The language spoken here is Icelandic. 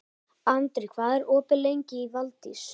Andri, hvað er opið lengi í Valdís?